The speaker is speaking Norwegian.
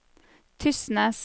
Tysnes